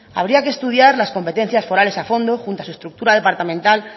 habría que estudiar las competencias forales a fondo junto a su estructura departamental